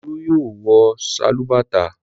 Olú yóò wọ sálúbàtà!